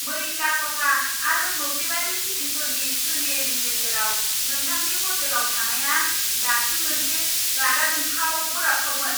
मैला खथा आरो मोब्लिबारि फिटिंफोरनि सोलियैनि गेजेराव नोंथांनि ह'टेलाव थानायआ दासिम मोनसे रागाजोंथाव बोराबथावमोन।